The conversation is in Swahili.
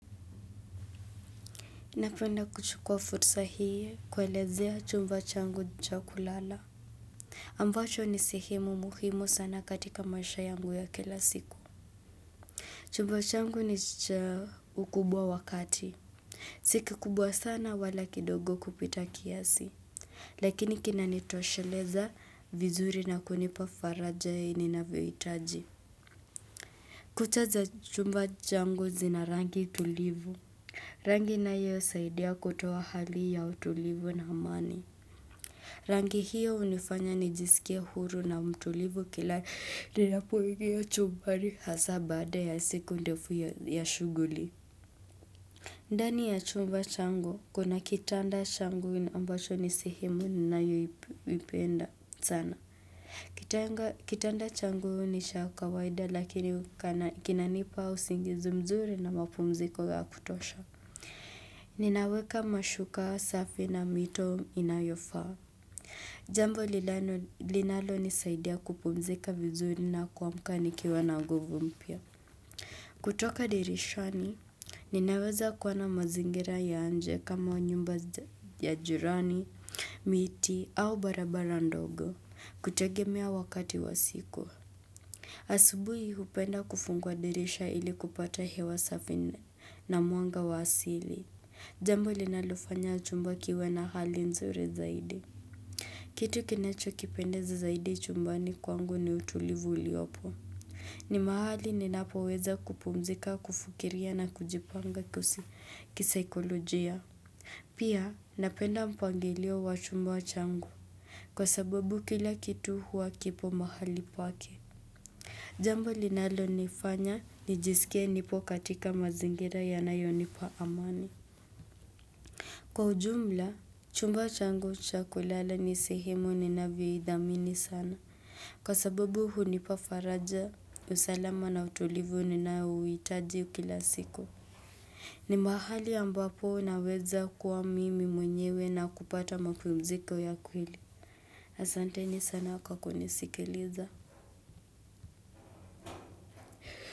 Napenda kuchukua futsa hii kuelezea chumba changu cha kulala. Ambacho ni sehemu muhimu sana katika maisha yangu ya kila siku. Chumba changu ni cha ukubwa wa kati. Si kikubwa sana wala kidogo kupita kiasi. Lakini kinanitosheleza vizuri na kunipa faraja ya ninavyoitaji. Kuta za chumba changu zina rangi tulivu. Rangi inayosaidia kutoa hali ya utulivu na amani. Rangi hiyo hunifanya nijisikie huru na mtulivu kila ninapoingia chumbani hasa baada ya siku ndefu ya shughuli. Ndani ya chumba changu kuna kitanda changu ambacho ni sehemu ninayoipenda sana. Kitanda changu ni cha kawaida lakini kinanipa usingizi mzuri na mapumziko ya kutosha. Ninaweka mashuka safi na mito inayofaa. Jambo lilano linalonisaidia kupumzika vizuri na kuamka nikiwa na nguvu mpya kutoka dirishani, ninaweza kuona mazingira ya nje kama nyumba za ya jirani, miti au barabara ndogo kutegemea wakati wa siku asubuhi hupenda kufungua dirisha ili kupata hewa safi na mwanga wa asili Jambo linalofanya chumba kiwe na hali nzuri zaidi Kitu kinachokipendeza zaidi chumbani kwangu ni utulivu uliopo. Ni mahali ninapoweza kupumzika, kufukiria na kujipanga kusi kisaikolojia. Pia napenda mpangilio wa chumba changu kwa sababu kila kitu huwa kipo mahali pake. Jambo linalonifanya nijisikie nipo katika mazingira yanayonipa amani. Kwa ujumla, chumba changu cha kulala ni sehemu ninavyoidhamini sana. Kwa sababu hunipa faraja, usalama na utulivu ninayouitaji kila siku. Ni mahali ambapo naweza kuwa mimi mwenyewe na kupata mapumziko ya kweli. Asanteni sana kwa kunisikiliza.